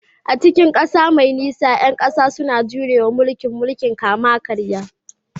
A cikin ƙasa mai nisa, ƴan ƙasa suna jure wa mulkin mulkin kama-karya